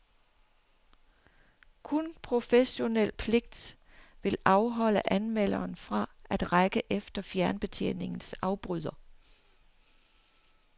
Kun professionel pligt vil afholde anmelderen fra at række efter fjernbetjeningens afbryder.